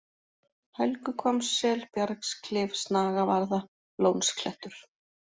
Helguhvammssel, Bjargsklif, Snagavarða, Lónsklettur